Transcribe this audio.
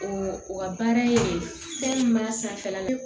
O o ka baara ye fɛn min b'a sanfɛla la